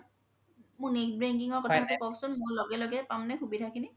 মোৰ net banking ৰ কথাতো কওকচোন লগে লগে পাম নে সুবিধা খিনি